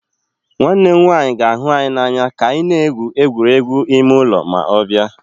Nwanne m nwanyị ga-ahụ anyị n'anya ka anyị na-egwu egwuregwu ime ụlọ ma ọ bịa